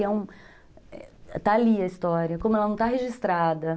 Está ali a história, como ela não está registrada.